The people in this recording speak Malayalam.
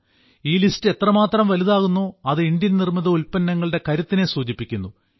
ഈ ലിസ്റ്റ് എത്രമാത്രം വലുതാകുന്നോ അത് ഇന്ത്യൻ നിർമ്മിത ഉല്പ്പന്നങ്ങളുടെ കരുത്തിനെ സൂചിപ്പിക്കുന്നു